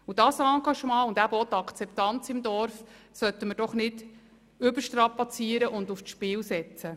Dieses Engagement und immer auch die Akzeptanz im Dorf dürfen auf keinen Fall überstrapaziert und aufs Spiel gesetzt werden.